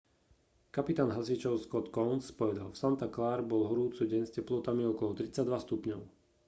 kapitán hasičov scott kouns povedal v santa clare bol horúci deň s teplotami okolo 32 stupňov